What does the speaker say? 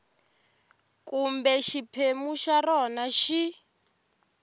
kumbe xiphemu xa rona xi